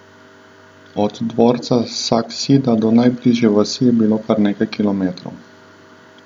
Od dvorca Saksida do najbližje vasi je bilo kar nekaj kilometrov.